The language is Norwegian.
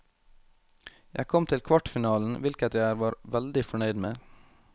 Jeg kom til kvartfinalen, hvilket jeg var veldig fornøyd med.